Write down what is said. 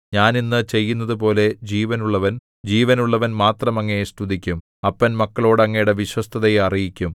ഞാൻ ഇന്ന് ചെയ്യുന്നതുപോലെ ജീവനുള്ളവൻ ജീവനുള്ളവൻ മാത്രം അങ്ങയെ സ്തുതിക്കും അപ്പൻ മക്കളോടു അങ്ങയുടെ വിശ്വസ്തതയെ അറിയിക്കും